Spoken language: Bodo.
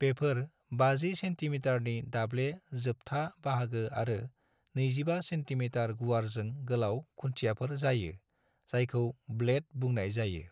बेफोर 50 सेन्टीमिटारनि दाब्ले जोबथा बाहागो आरो 25 सेन्टीमिटार गुवारजों गोलाव खुन्थियाफोर जायो, जायखौ ब्लेड बुंनाय जायो।